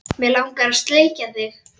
Mig langar að sleikja þig.